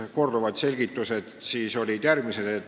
Korduvad selgitused olid järgmised.